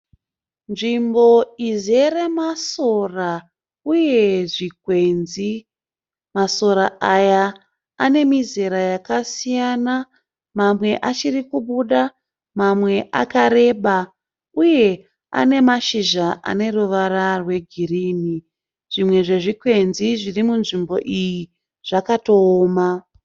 Nzvimbo izere masora uye zvikwenzi. Masora aya anemizera yakasiyana mamwe achiri kubuda mamwe akareba uye anemashizha aneruvara rwegirini. Zvimwe zvezvikwenzi zviri munzvimbo iyi zvakatooma.